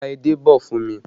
Ra edé bọ̀ fún mi!